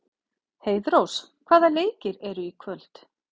Heiðrós, hvaða leikir eru í kvöld?